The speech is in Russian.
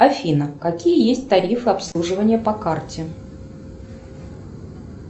афина какие есть тарифы обслуживания по карте